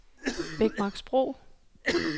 Bækmarksbro